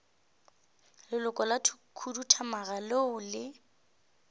leloko la khuduthamaga leo le